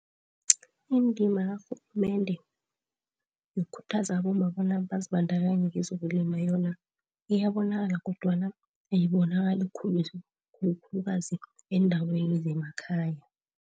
Indima karhulumende yokukhuthaza abomma bona bazibandakanye kezokulima yona iyabonakala kodwana ayibonakali khulu. Khulukazi eendaweni zemakhaya.